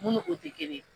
Mun ni o tɛ kelen ye